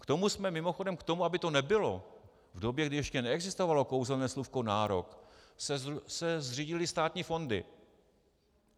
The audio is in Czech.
K tomu jsme - mimochodem k tomu, aby to nebylo v době, kdy ještě neexistovalo kouzelné slůvko nárok, se zřídily státní fondy.